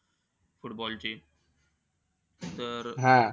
Football ची. तर,